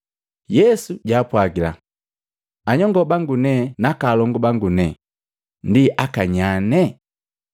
Yesu jaapwagila, “Anyongo bangu ne naka alongu bangu ne ndi akanyane?”